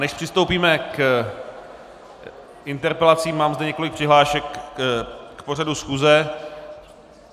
Než přistoupíme k interpelacím, mám zde několik přihlášek k pořadu schůze.